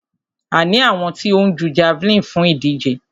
A ní àwọn tí ó ń jú javeline fún ìdíje.